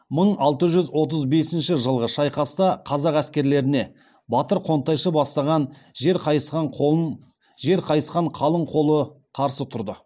мың алты жүз отыз бесінші жылғы шайқаста қазақ әскерлеріне батыр қонтайшы бастаған жер қайысқан қалың қол қарсы тұрды